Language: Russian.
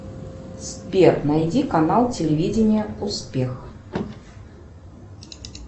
сбер найди канал телевидения успех